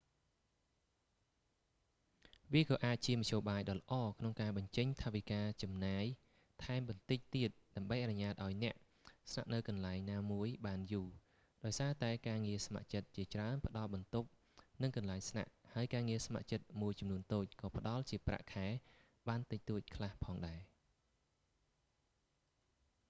វាក៏អាចជាមធ្យោបាយដ៏ល្អក្នុងការបញ្ចេញថវិកាចំណាយថែមបន្តិចទៀតដើម្បីអនុញ្ញាតឱ្យអ្នកស្នាក់នៅកន្លែងណាមួយបានយូរ ដោយសារតែការងារស្ម័គ្រចិត្តជាច្រើនផ្តល់បន្ទប់ និងកន្លែងស្នាក់ ហើយការងារស្ម័គ្រមួយចំនួនតូចក៏ផ្តល់ជាប្រាក់ខែបានតិចតួចខ្លះផងដែរ